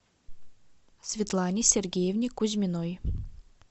светлане сергеевне кузьминой